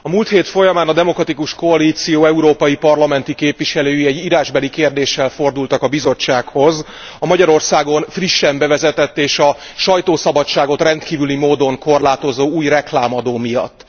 A múlt hét folyamán a Demokratikus Koalíció európai parlamenti képviselői egy írásbeli kérdéssel fordultak a Bizottsághoz a Magyarországon frissen bevezetett és a sajtószabadságot rendkívüli módon korlátozó új reklámadó miatt.